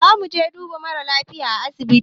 Zamuje duba mara lafiya a asibiti